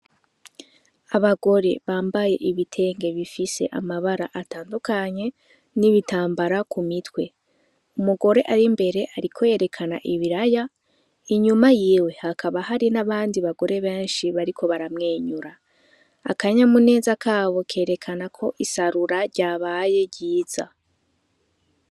Abagore bambaye ibitenge bifise amabara atandukanye n'ibitambara ku mitwe umugore ari imbere, ariko yerekana ibiraya inyuma yiwe hakaba hari n'abandi bagore benshi bariko baramwenyura akanyamuneza kabo kerekana ko isarura ryabaye ryiza .